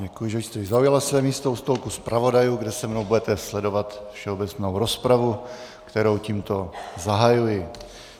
Děkuji, že jste zaujala své místo u stolku zpravodajů, kde se mnou budete sledovat všeobecnou rozpravu, kterou tímto zahajuji.